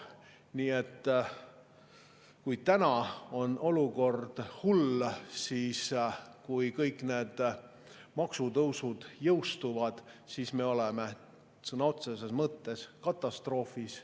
Nii et täna on olukord hull, aga kui kõik need maksutõusud jõustuvad, oleme me sõna otseses mõttes katastroofis.